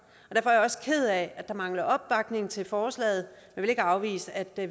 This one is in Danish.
er jeg også ked af at der mangler opbakning til forslaget jeg vil ikke afvise at